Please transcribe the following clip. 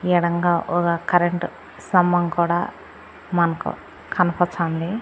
ఎడంగా ఒక కరెంటు స్తంభం కూడా మనకు కనబస్తోంది.